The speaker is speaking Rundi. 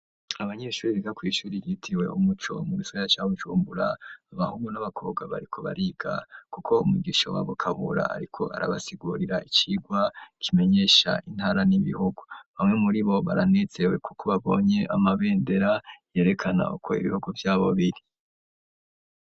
Abanyeshuri biga kw'ishuri ryitiriwe umuco, mu gisagara ca Bujumbura, abahungu n'abakobwa, bariko bariga kuko umwigisha wabo Kabura, ariko arabasigurira icigwa kimenyesha intara n'ibihugu; bamwe muri bo baranezerewe, kuko babonye amabendera yerekana uko ibihugu vyabo biri.